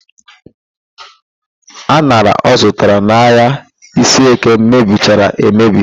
An̄ara ọ zụtara n'ahịa Iseeke mebichara emebi